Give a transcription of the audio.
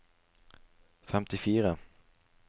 femtifire